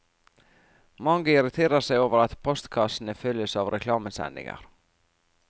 Mange irriterer seg over at postkassene fylles av reklamesendinger.